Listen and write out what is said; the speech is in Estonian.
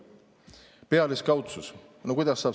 Pealiskaudsus!